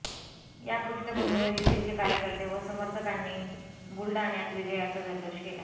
या पृष्ठभूमीवर युतीचे कार्यकर्ते व समर्थकांनी बुलडाण्यात विजयाचा जल्लोष केला